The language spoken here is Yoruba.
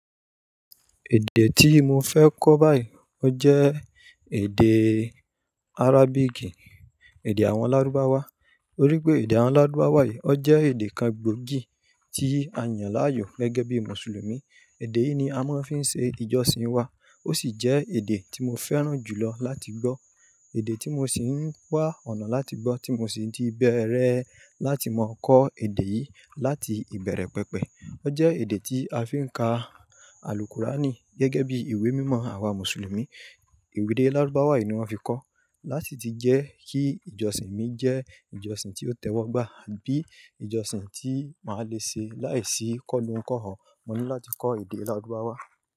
Èdè tí mo fẹ́ kọ́ báyìí ọ jẹ́ èdè Arabic, èdè àwọn Lárúbáwá. Torí pé èdè àwọn Lárúbáwá yìí, ọ jẹ́ èdè kan gbòógì tí a yàn láàyò gẹ́gẹ́ bí Mùsùlùmí. Èdè yìí ni a máa ń fi ṣe ìjọsìn wa, ó sì jẹ́ èdè tí mo fẹ́ràn jù lọ láti gbọ́. Èdè tí mo ṣì ń wa ọ̀nà láti gbọ́, tí mo sì ti bẹ̀rẹ̀ láti máa kọ́ èdè yìí láti ìbẹ̀rẹ̀ pẹpẹ. Ọ jẹ́ èdè tí a fi ń ka àlùkúrání gẹ́gẹ́ bí ìwé mímọ àwa Mùsùlùmí. Ede Lárúbáwá yìí ni wọ́n fi kọ. Láti ti jẹ́ kí ìjọsìn mi jẹ́ ìjọsìn tí ó tẹ́wọ́gbà bí ìjọsìn tí màá le ṣe láìsí kọ́ lohùn kọ́hò, mo ní láti kọ́ èdè Lárúbáwá.